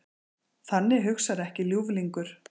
Þannig hugsar ekki ljúflingur.